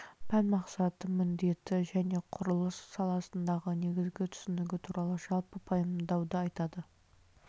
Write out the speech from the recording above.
пән мақсаты міндеті және құрылыс саласындағы негізгі түсінігі туралы жалпы пайымдауды айтады